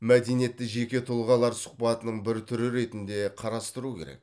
мәдениетті жеке тұлғалар сұхбатының бір түрі ретінде қарастыру керек